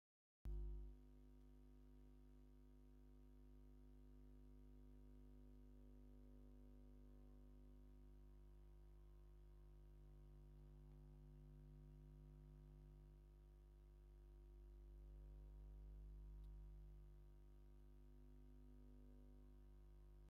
ሃይማኖት፦ ሃይማኖት ማለት ሓደ ማሕበረሰብ ናይ ውሽጡ እምነት ኮይኑ መስ ፈጣሪኡ ዝራከበሉ ምንገዲ እዩ። ካብ ናይ ሃይማኖት ምልክታት ዝበሃሉ ናይ መስቀል ካብ ዕንፀይቲ ዝተሰርሑ ማዕተባት ኣለው። መስቀል ናይ ናይ ምንታይ ሃይማኖት እምነት ይጥቀምሉ?